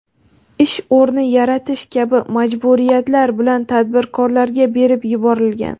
ish o‘rni yaratish kabi majburiyatlar bilan tadbirkorlarga berib yuborilgan.